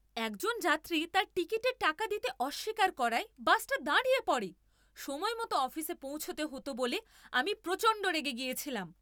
একজন যাত্রী তার টিকিটের টাকা দিতে অস্বীকার করায় বাসটা দাঁড়িয়ে পড়ে। সময়মতো অফিসে পৌঁছতে হতো বলে আমি প্রচণ্ড রেগে গেছিলাম।